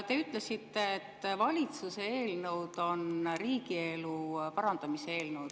Te ütlesite, et valitsuse eelnõud on riigielu parandamise eelnõud.